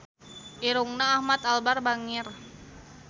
Irungna Ahmad Albar bangir